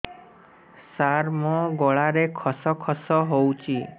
ସାର ମୋ ଗଳାରେ ଖସ ଖସ ହଉଚି